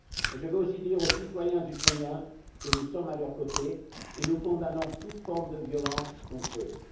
Je veux aussi dire aux citoyens ukrainiens que nous sommes à leurs côtés et que nous condamnons toute forme de violence contre eux.